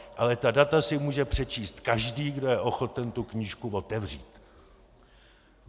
Ale ta data si může přečíst každý, kdo je ochoten tu knížku otevřít.